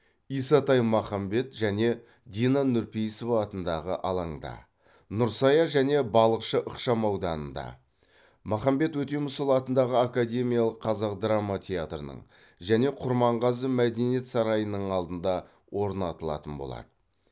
исатай махамбет және дина нұрпейісова атындағы алаңда нұрсая және балықшы ықшам ауданында махамбет өтемісұлы атындағы академиялық қазақ драма театрының және құрманғазы мәдениет сарайының алдында орнатылатын болады